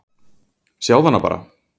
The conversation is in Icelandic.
Sjáðu hana bara!